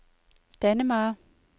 Dannemare